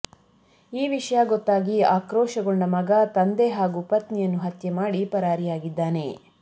ಈ ವಿಷಯ ಗೊತ್ತಾಗಿ ಆಕ್ರೋಶಗೊಂಡ ಮಗ ತಂದೆ ಹಾಗೂ ಪತ್ನಿಯನ್ನು ಹತ್ಯೆ ಮಾಡಿ ಪರಾರಿಯಾಗಿದ್ದಾನೆ